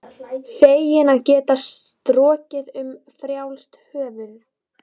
Feginn að geta strokið um frjálst höfuð.